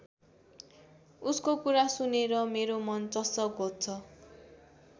उसको कुरा सुनेर मेरो मन चस्स घोच्छ।